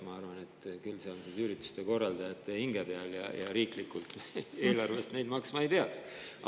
Ma arvan, et see on ürituste korraldajate hinge peal ja riigieelarvest seda maksma ei peaks.